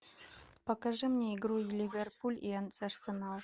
покажи мне игру ливерпуль и арсенал